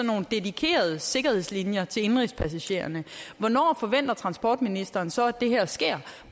nogle dedikerede sikkerhedslinjer til indenrigspassagererne hvornår forventer transportministeren så at det her sker